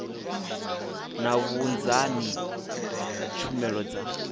na vhunzani ha tshumelo dza